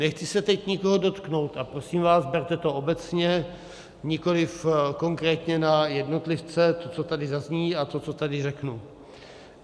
Nechci se teď nikoho dotknout a prosím vás, berte to obecně, nikoliv konkrétně na jednotlivce, to, co tady zazní, a to, co tady řeknu.